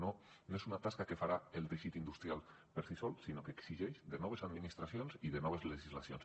no és una tasca que farà el teixit industrial per si sol sinó que exigeix noves administracions i noves legislacions